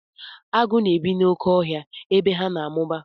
Agụ na-ebi n'oké ọhịa ebe ha na-amụba.